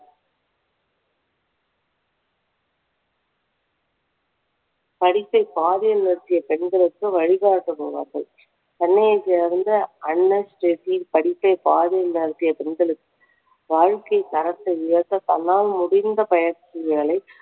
படிப்பை பாதியில் நிறுத்திய பெண்களுக்கு வழிகாட்டும் மூதாட்டி. சென்னையை சேர்ந்த படிப்பை பாதியில் நிறுத்திய பெண்களுக்கு வாழ்க்கை தரத்தை உயர்த்த தன்னால் முடிந்த பயிற்சிகளை